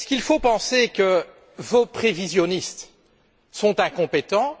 faut il penser que vos prévisionnistes sont incompétents?